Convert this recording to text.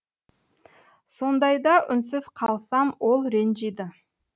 сондайда үнсіз қалсам ол ренжиді